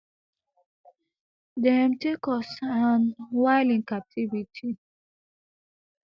dem take us and while in captivity